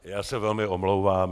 Já se velmi omlouvám.